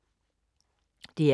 DR K